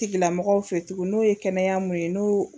Tigilamɔgɔw fe tugun n'o ye kɛnɛya mun ye n'o